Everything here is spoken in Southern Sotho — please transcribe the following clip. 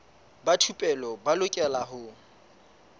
ba thupelo ba lokela ho